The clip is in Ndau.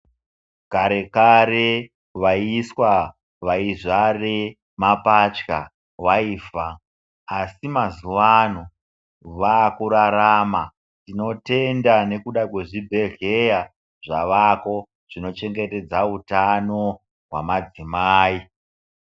Kare kare vaiswa vaizvare mapatya vaifa, asi mazuwano vakurarama tinotenda nekuda kwezvi bhedhlera zvavako zvinochengetedza utano hwamadzimai.